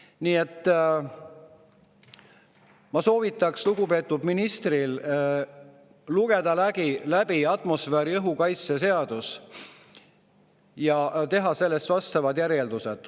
Nii et ma soovitaks lugupeetud ministril lugeda läbi atmosfääriõhu kaitse seadus ja teha sellest vastavad järeldused.